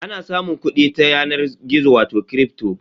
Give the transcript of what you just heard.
Ana samun kuɗi ta yanar gizo wato kripto.